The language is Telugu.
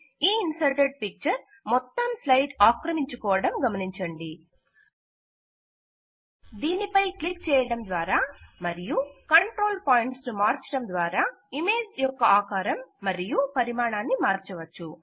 ఈ ఇన్సర్టెడ్ పిక్చర్ మొత్తం స్లైడ్ ఆక్రమించుకోవడం గమనించండి దీని పై క్లిక్ చేయటం ద్వారా మరియు కంట్రోల్ పాయింట్స్ ను మార్చటం ద్వారా ఇమేజ్ యొక్క ఆకారం మరియు పరిమాణాన్ని మార్చవచ్చు